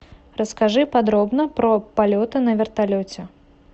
расскажи подробно про полеты на вертолете